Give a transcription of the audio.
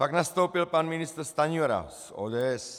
Pak nastoupil pan ministr Stanjura z ODS.